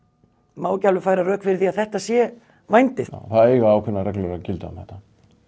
má ekki alveg færa rök fyrir því að þetta sé vændi það eiga ákveðnar reglur að gilda um þetta